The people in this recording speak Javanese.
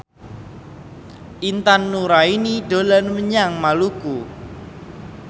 Intan Nuraini dolan menyang Maluku